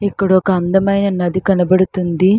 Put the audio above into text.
ఇక్కడ ఒక అండ మైన నది కనబడుతుంది.